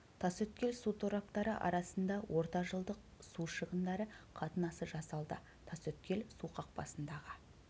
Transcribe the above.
тасөткел су тораптары арасында ортажылдық су шығындары қатынасы жасалды тасөткел су қақпасындағы